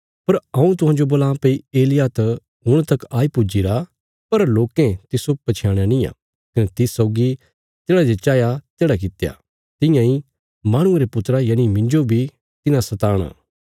पर हऊँ तुहांजो बोलां भई एलिय्याह त हुण तक आई पुज्जीरा पर लोकें तिस्सो पछयाणया निआं कने तिस सौगी तेढ़ा जे चाहया तेढ़ा कित्या तियां इ माहणुये रे पुत्रा यनि मिन्जो बी तिन्हां सताणा